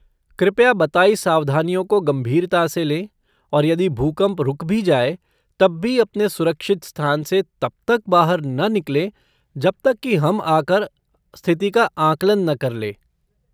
कृपया बताई सावधानियों को गंभीरता से लें और यदि भूकंप रुक भी जाए, तब भी अपने सुरक्षित स्थान से तब तक बाहर न निकलें जब तक कि हम आकर स्थिति का आंकलन न कर लें।